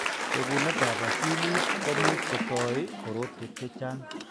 Bekunetab akilit ko much ko toi korotwek chechang'.